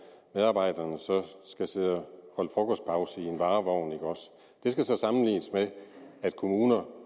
medarbejderne så skal sidde og frokostpause i en varevogn ikke også det skal så sammenlignes med at kommuner